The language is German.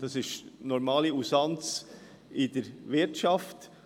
Das ist die normale Usanz in der Wirtschaft.